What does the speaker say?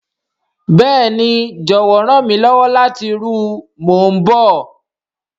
Béèni, jọwọ ran mi lọwọ lati ru o, mo n bọ.